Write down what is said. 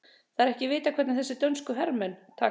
Það er ekki að vita hvernig þessir dönsku herramenn taka því.